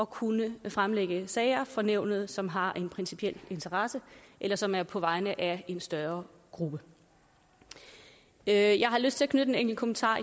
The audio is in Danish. kunne fremlægge sager for nævnet som har en principiel interesse eller som er på vegne af en større gruppe jeg jeg har lyst til at knytte en enkelt kommentar